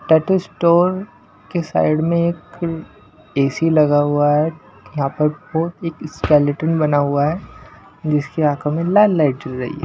Tattoo store के side में एक ए_सी लगा हुआ है यहां पर वो एक स्केलेटन बना हुआ है जिसकी आंखों में लाल लाइट चल रही है।